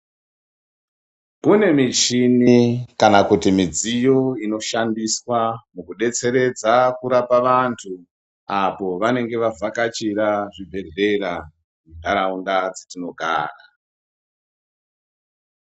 Mune mishini kana kuti midziyo inoshandiswa kudetseredza kurapa vantu apo vanenge vavhakachira zvibhehlera mundaraunda dzatinogara.